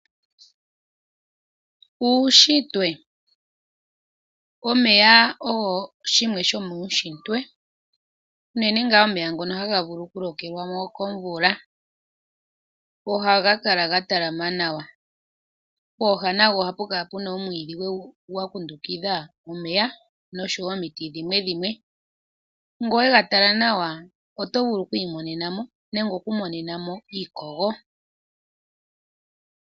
Uushitwe. Omeya ogo shimwe sho muushitwe unene ngaa omeya ngono haga vulu oku lokelwamo komvula ohaga kala ga talama nawa . pooha nago ohapu kala omwiidhi gwa dhingoloka omeya oshowo omiti dhimwe. Ngele owega tala nawa oto vulu oku imonenamo nenge oku monenamo iikogo.